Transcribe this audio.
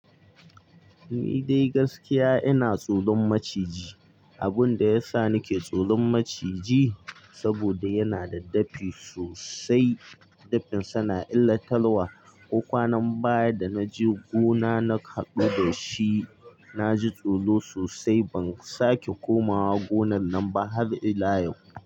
Ni dai gaskiya ina tsoron maciji. Abun da yasa nike tsoron maciji saboda yana da dafi sosai. Dafinsa na illatar wa. Ko kwanan baya da na je gona na hadu da shi. Na ji tsoro sosai. Ban sake komawa gonar nan ba har ila yau.